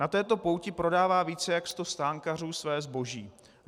Na této pouti prodává více jak sto stánkařů své zboží.